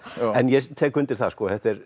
en ég tek undir það að þetta er